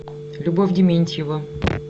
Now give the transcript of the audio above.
любовь дементьева